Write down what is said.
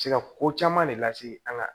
Se ka ko caman de lase an ka